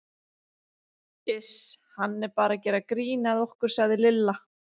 Iss hann er bara að gera grín að okkur sagði Lilla.